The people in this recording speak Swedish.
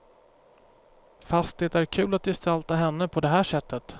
Fast det är kul att gestalta henne på det här sättet.